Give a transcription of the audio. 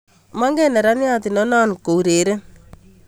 Mogen neranian ndonon koureren